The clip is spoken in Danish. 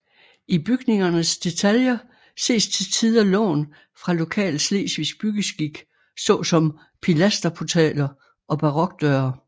I bygningernes detaljer ses til tider lån fra lokal slesvigsk byggeskik såsom pilasterportaler og barokdøre